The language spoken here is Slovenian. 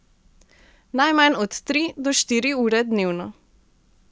Najmanj od tri do štiri ure dnevno.